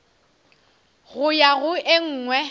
go ya go e nngwe